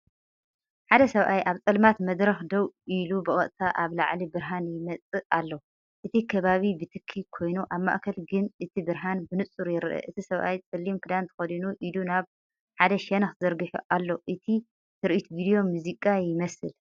ሓደ ሰብኣይ ኣብ ጸልማት መድረኽ ደው ኢሉ ብቐጥታ ካብ ላዕሊ ብርሃን ይመጽእ ኣሎ እቲ ከባቢ ብትኪ ኮይኑ፡ኣብ ማእከል ግን እቲ ብርሃን ብንጹር ይርአ። እቲሰብኣይ ጸሊም ክዳን ተኸዲኑ ኢዱ ናብ ሓደ ሸነኽ ዘርጊሑ ኣሎ። እቲ ትርኢትቪድዮ ሙዚቃ ይመስል።